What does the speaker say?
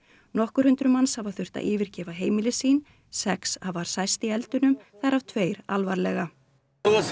nokkur hundruð manns hafa þurft að yfirgefa heimili sín sex hafa særst í eldunum þar af tveir alvarlega